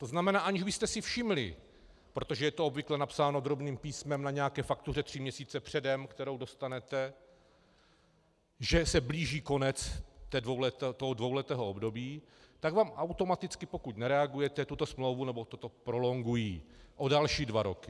To znamená, aniž byste si všimli, protože to je obvykle napsáno drobným písmem na nějaké faktuře tři měsíce předem, kterou dostanete, že se blíží konec toho dvouletého období, tak vám automaticky, pokud nereagujete, tuto smlouvu nebo toto prolongují o další dva roky.